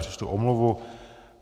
Přečtu omluvu.